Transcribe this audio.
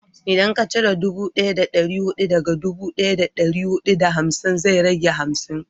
in ka cire dubu daya da dari hudu daga dubu daya da dari hudu da hamsin zai rage hamsin